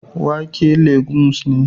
Wake legumes ne